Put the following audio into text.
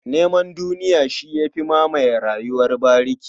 Neman duniya shi ya fi mamaye rayuwar bariki.